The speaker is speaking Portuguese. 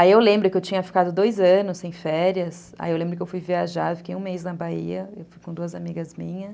Aí eu lembro que eu tinha ficado dois anos sem férias, aí eu lembro que eu fui viajar, fiquei um mês na Bahia, eu fui com duas amigas minhas.